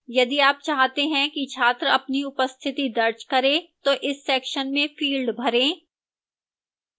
यदि आप चाहते हैं कि छात्र अपनी उपस्थिति दर्ज करें तो इस section में fields भरें